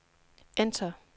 enter